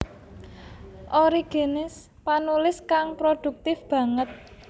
Origenes panulis kang prodhuktif banget